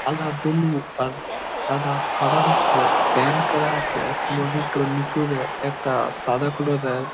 সাদা ব্লু আর সাদা সাদা নকশে পেইন্ট করা আছে | আর কোরিডোরটর নিচুতে একটা সাদা কোলোরের --